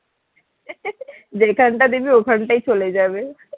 যেখান টা দিবি ওখানটাই চলে যাবে